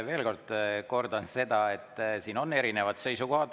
Veel kord kordan, et siin on erinevad seisukohad.